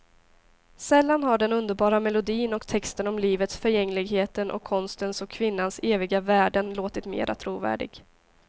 Sällan har den underbara melodin och texten om livets förgängligheten och konstens och kvinnans eviga värden låtit mera trovärdig.